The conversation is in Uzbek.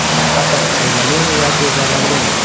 Qatiq foydalimi yoki zararlimi?